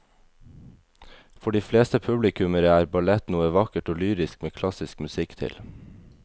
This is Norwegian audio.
For de fleste publikummere er ballett noe vakkert og lyrisk med klassisk musikk til.